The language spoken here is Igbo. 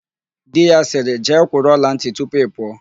Di ya sịrị, "jee kwụrụ ọlantị tupu ị pụọ"!